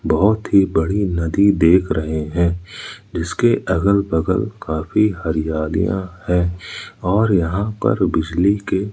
बहुत ही बड़ी नदी देख रहे हैं इसके अगल बगल काफी हरियालियां हैं और यहां पर बिजली के--